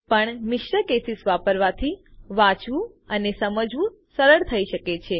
પણ મિશ્ર કેસીસ વાપરવાથી વાંચવું અને સમજવું સરળ થઇ શકે છે